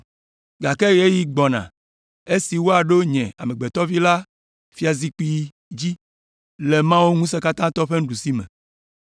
Gake ɣeyiɣi gbɔna esi woaɖo Nye Amegbetɔ Vi la fiazikpui dzi le Mawu ŋusẽkatãtɔ la ƒe nuɖusime.”